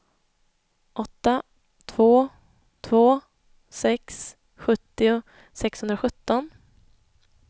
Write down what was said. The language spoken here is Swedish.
åtta två två sex sjuttio sexhundrasjutton